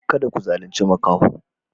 Kada ku zalunce maƙaho yaro.